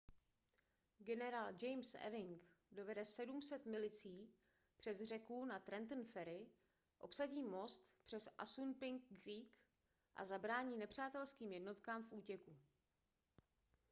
generál james ewing dovede 700 milicí přes řeku na trenton ferry obsadí most přes assunpink creek a zabrání nepřátelským jednotkám v útěku